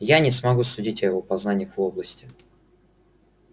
я не могу судить о его познаниях в области